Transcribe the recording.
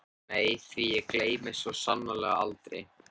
Nei því gleymi ég svo sannarlega aldrei.